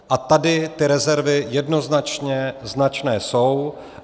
A tady ty rezervy jednoznačně značné jsou.